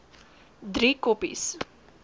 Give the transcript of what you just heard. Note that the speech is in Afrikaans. driekoppies